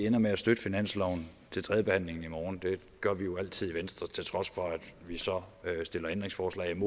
ender med at støtte i finansloven til tredjebehandlingen i morgen det gør vi jo altid i venstre til trods for at vi så stiller ændringsforslag